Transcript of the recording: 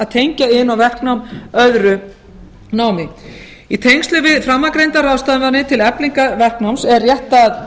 tengja iðn og verknám öðru námi í tengslum við framangreindar ráðstafanir til eflingar verknáms er rétt að